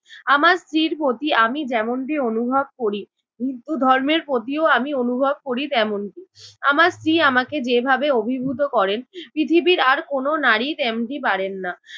আমার স্ত্রীর প্রতি আমি যেমনটি অনুভব করি হিন্দু ধর্মের প্রতিও আমি অনুভব করি তেমনটি। আমার স্ত্রী আমাকে যেভাবে অভিভূত করেন পৃথিবীর আর কোনো নারী তেমনটি পারেন না।